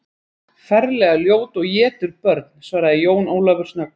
Ferlega ljót og étur börn, svaraði Jón Ólafur snöggt.